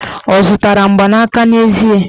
Ọ zụtara mgbanaka n'ezie?